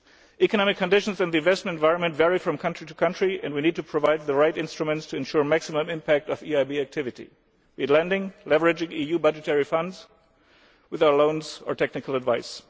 Economic conditions in the investment environment vary from country to country and we need to provide the right instruments to ensure the maximum impact of EIB activity in lending, leveraging EU budgetary funds with our loans or technical advice.